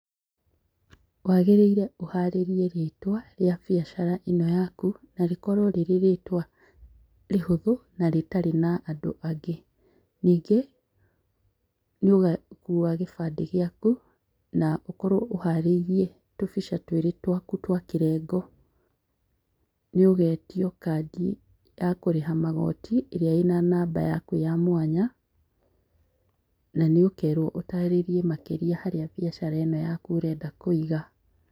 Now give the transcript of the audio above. Wagĩrĩire ũharĩrie rĩtwa rĩa biacara ĩno yaku na rĩkorwo rĩrĩ rĩtwa rĩhũthũ na rĩtarĩ na andũ angĩ. Nyingĩ nĩũgakua gĩbandĩ gĩaku na ũkorwo ũharĩirie tũbica twĩrĩ twaku twakĩrengo. Nĩũgetio kandi ya kũrĩha magoti ĩrĩa ĩnanamba yaku ya mwanya, nanĩũkerwo ũtarĩrie makĩria harĩa biacara ĩno yaku ũrenda kũiga.